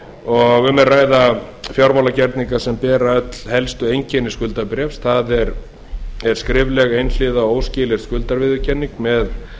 og um er að ræða fjármálagerninga sem bera öll helstu einkenni skuldabréfs það er skrifleg einhliða óskilyrt skuldaviðurkenning með